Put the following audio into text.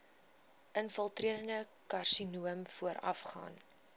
infiltrerende karsinoom voorafgaan